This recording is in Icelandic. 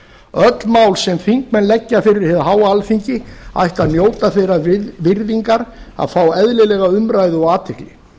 öll mál sem þingmenn leggja fyrir hið háa alþingi ættu að njóta þeirrar virðingar að fá eðlilega umræðu og athygli